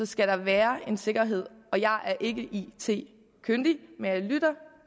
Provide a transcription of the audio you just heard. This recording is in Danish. skal være en sikkerhed jeg er ikke it kyndig men jeg lytter